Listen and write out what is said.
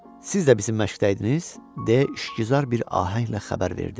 Siz də bizim məşqdə idiniz, deyə şkizar bir ahənglə xəbər verdi.